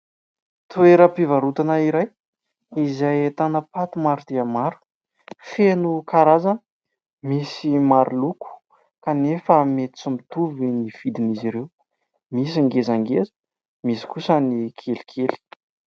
Toeram-pivarotana iray, izay ahitana paty maro dia maro, feno karazana, misy maro loko kanefa mety tsy mitovy ny vidin'izy ireo, misy ngezangeza, misy kosa ny kelikely.